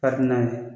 Kabini n'a ye